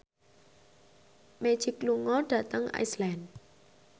Magic lunga dhateng Iceland